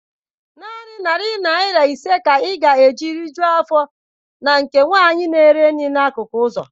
Naanị narị naira ise ka ị ga-eji rijuọ afọ na nke nwanyị na-ere nri na-akụkụ ụzọ.